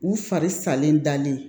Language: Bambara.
U fari salen dalen